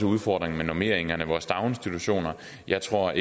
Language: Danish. udfordringer med normeringerne i vores daginstitutioner jeg tror